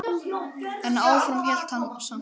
En áfram hélt hann samt.